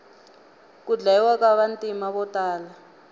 ku dyayiwa ka vantima votala